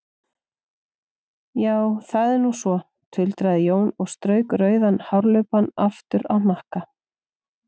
Já, það er nú svo, tuldraði Jón og strauk rauðan hárlubbann aftur á hnakka.